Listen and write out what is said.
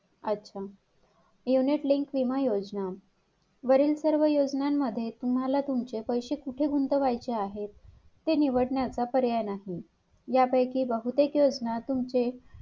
अच्छा unit linked विमा योजना वरील सर्व योजनान मध्ये तुम्हाला तुमचे पैशे कुठे गुंतवायचे आहेत हे निवडण्याचा पर्याय नाही या पैकी बहुतेक योजना तुमचे,